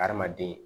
Hadamaden